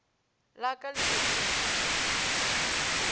la ka le be le